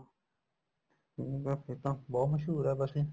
ਹਮ ਫੇਰ ਤਾਂ ਬਹੁਤ ਮਸ਼ਹੂਰ ਏ ਬਸੀ